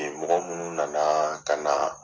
mɔgɔ minnu na na ka na